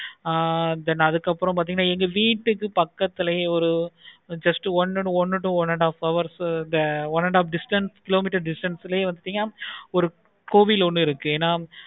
ஆஹ் then அதுக்கு அப்பறம் பார்த்தீங்கன்னா எங்க வீட்டுக்கு பக்கத்துலயே ஒரு test one to one and half an hour one and half distance kilometer distance லையே பாரு கோவில் ஒன்னு இருக்கு.